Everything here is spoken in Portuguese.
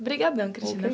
Obrigadão, Dona Cristina.